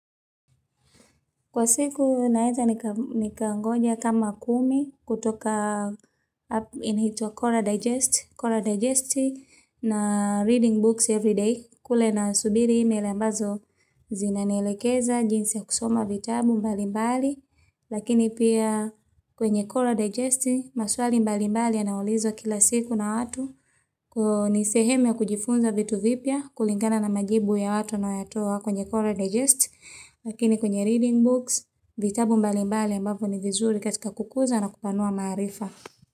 Kwa siku naeza nikangoja kama kumi kutoka app inahuitwa Coral Digest, Coral Digest na Reading Books Everyday, kule nasubiri email ambazo zinanielekeza jinsi ya kusoma vitabu mbali mbali, lakini pia kwenye Coral Digest maswali mbali mbali yanaulizwa kila siku na watu. Ni sehemu ya kujifunza vitu vipya kulingana na majibu ya watu wanayatoa kwenye Coral Digest lakini kwenye Reading Books vitabu mbali mbali ambavyo ni vizuri katika kukuza na kupanua maarifa.